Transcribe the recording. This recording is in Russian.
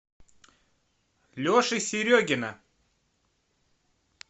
леши серегина